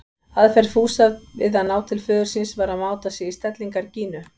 Aðferð Fúsa við að ná til föður síns var að máta sig í stellingar Gínu.